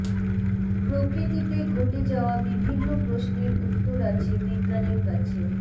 প্রকৃতিতে ঘটে যাওয়া বিভিন্ন প্রশ্নের উত্তর আছে বিজ্ঞানের কাছে